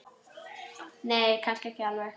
Nei, kannski ekki alveg.